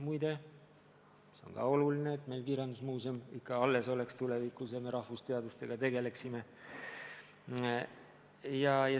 Muide, see on ka oluline, et meil kirjandusmuuseum ka tulevikus ikka alles oleks ja me rahvusteadustega tegeleksime.